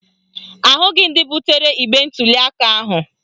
Ahụghị ndị butere igbe ntuliaka ahụ